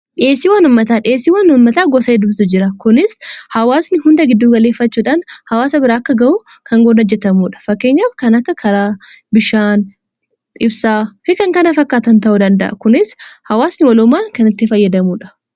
dhiessii wanummataa dhieessii wanummataa gosa dumatu jira kunis hawaasni hunda gidduu galeeffachuudhaan hawaasa biraa akka ga'u kan gonajjetamuudha fakkeenya kan akka karaa bishaan ibsaa fikan kana fakkaatan ta'uu danda'a kunis hawaasni waloomaan kanitti fayyadamuudha